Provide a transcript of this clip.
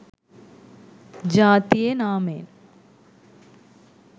ජාතියේ නාමයෙන්